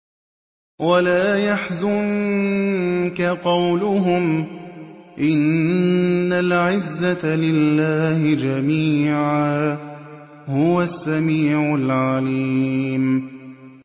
وَلَا يَحْزُنكَ قَوْلُهُمْ ۘ إِنَّ الْعِزَّةَ لِلَّهِ جَمِيعًا ۚ هُوَ السَّمِيعُ الْعَلِيمُ